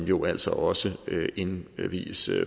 jo altså også indvies